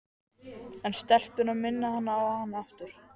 En stelpurnar minna hana á hann aftur.